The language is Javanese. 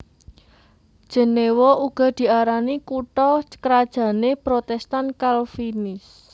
Jenéwa uga diarani kutha krajané Protèstan Kalvinis